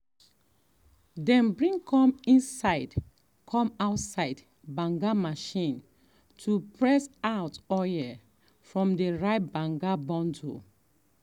dem bring come inside come inside banga machine to press out oil from the ripe um banga bundle.